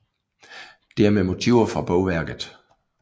Det er med motiver fra bogværket